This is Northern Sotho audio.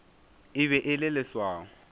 e be e le leswao